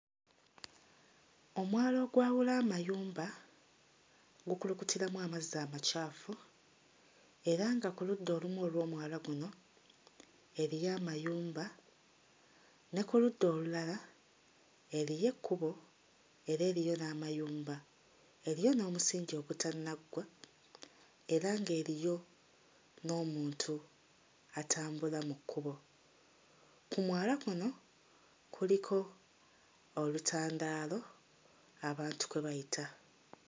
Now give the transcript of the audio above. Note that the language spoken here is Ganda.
Omwala ogwawula amayumba gukulukutiramu amazzi amacaafu era nga ku ludda olumu olw'omwala guno eriyo amayumba, ne ku ludda olulala eriyo ekkubo era eriyo n'amayumba, eriyo n'omusingi ogutannaggwa era ng'eriyo n'omuntu atambula mu kkubo. Ku mwala kuno kuliko olutandaalo abantu kwe bayita.